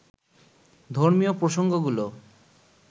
ধর্মীয় প্রসঙ্গগুলো